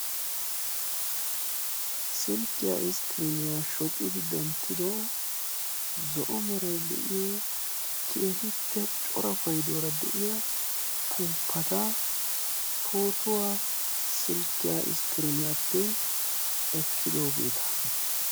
silkkiya iskkiriiniya shocidi denttido zo'o meray de'iyo keehippe cora payduwara de'iya upuupata pootuwa silkiya iskkiriiniyappe ekkidoogeeta.